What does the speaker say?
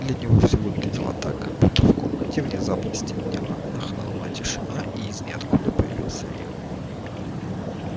для него всё выглядело так как будто в комнате внезапно стемнело нахлынула тишина и из ниоткуда появился я